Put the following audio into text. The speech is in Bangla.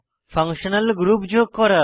ফাংশনাল গ্রুপ যোগ করা